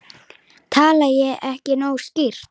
Tala ég ekki nógu skýrt?